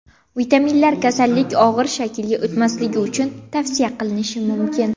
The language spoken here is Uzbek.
Vitaminlar kasallik og‘ir shaklga o‘tmasligi uchun tavsiya qilinishi mumkin.